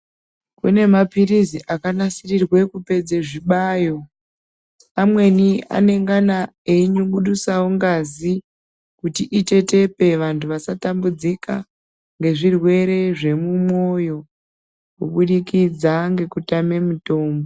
Kune mapirizi akanasirirwe kupedze zvibayo amweni anengana einyungudusawo ngazi kuti itetepe vantu vasatambudzika ngezvirwere zvemumwoyo kubudikidza ngekutame mitombo.